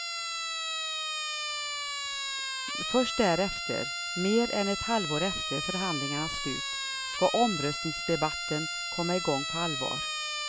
Först därefter, mer än ett halvår efter förhandlingarnas slut, ska omröstningsdebatten komma igång på allvar.